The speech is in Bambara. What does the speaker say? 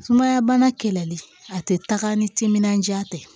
Sumaya bana kɛlɛli a tɛ taga ni timinandiya tɛ